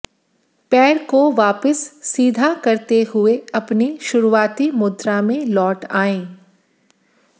पैर को वापस सीधा करते हुए अपनी शुरुआती मुद्रा में लौट आएं